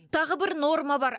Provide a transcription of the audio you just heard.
тағы бір норма бар